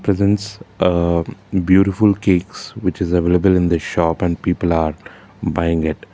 presence uh beautiful cakes which is available in the shop and people are buying it.